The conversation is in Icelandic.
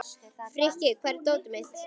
Frikki, hvar er dótið mitt?